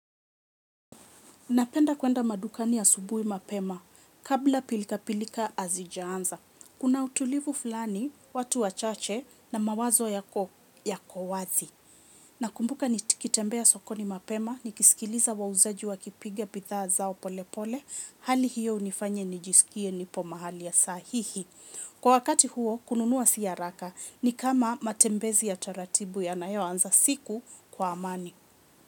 Ninapenda kwenda madukani asubuhi mapema kabla pilika-pilika hazijaanza. Kuna utulivu fulani, watu wachache na mawazo yako wazi. Nakumbuka nitikitembea sokoni mapema, nikisikiliza wauzaji wakipiga bidhaa zao pole pole, hali hiyo unifanya nijisikie nipo mahali ya sahihi. Kwa wakati huo, kununua si haraka ni kama matembezi ya taratibu yanayoanza siku kwa amani.